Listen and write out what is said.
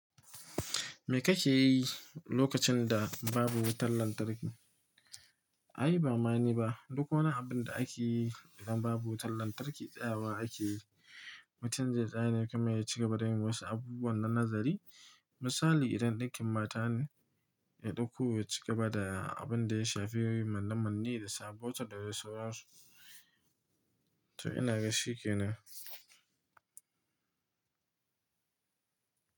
Me kake yi lokacin da babu wutar lantarki? Ai, ba ma niba duk wani abun da ake yi idan babu wutan lantarki, tsayawa akeyi mutum zai tsaya ne kamar ya ci gaba da yin wasu abubuwan na nazari. Misali, idan ɗinkin mata ne, ya ɗauko ya ci gaba da abin da ya shafi manna-manne da sa botir, da dai sauransu. To inaga shi ke nan.